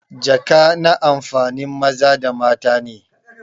jaka na amfanin maza da mata ne.